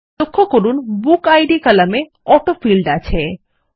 লক্ষ্য করুন বুকিড কলামে অটোফিল্ড আছে